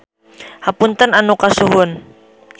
Hapunten anu kasuhun.